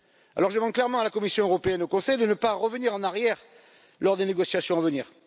du rail. Alors je demande clairement à la Commission européenne et au Conseil de ne pas revenir en arrière lors des négociations